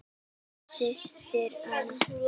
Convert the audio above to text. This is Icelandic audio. Þín systir, Anna.